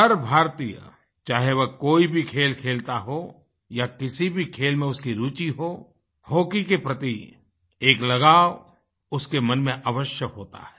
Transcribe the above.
हर भारतीय चाहे वह कोई भी खेल खेलता हो या किसी भी खेल में उसकी रूचि हो हॉकी के प्रति एक लगाव उसके मन में अवश्य होता है